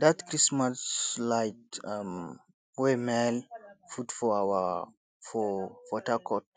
dat christmas light um wey maale put for our for port harcourt